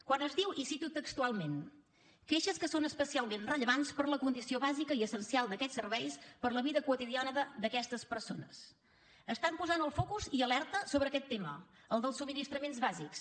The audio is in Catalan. quan es diu i ho cito textualment queixes que són especialment rellevants per la condició bàsica i essencial d’aquest serveis per la vida quotidiana d’aquestes persones estan posant el focus i alerta sobre aquest tema el dels subministraments bàsics